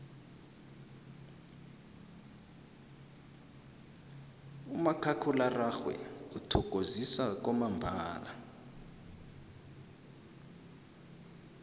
umakhakhulararhwe uthokozisa kwamambala